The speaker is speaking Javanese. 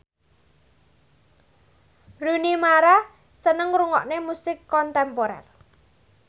Rooney Mara seneng ngrungokne musik kontemporer